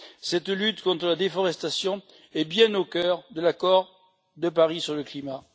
Cette lutte contre la déforestation est bien au cœur de l'accord de Paris sur le climat.